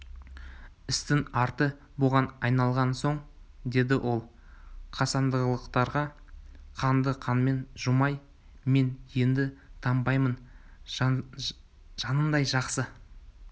істің арты бұған айналған соң деді ол қасындағыларға қанды қанмен жумай мен енді тынбаймын жанындай жақсы